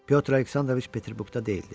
Pyotr Aleksandroviç Peterburqda deyildi.